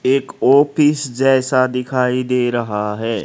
एक ऑफिस जैसा दिखाई दे रहा है।